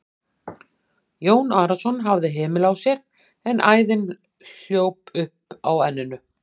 Jón Arason hafði hemil á sér en æðin hljóp upp á enninu.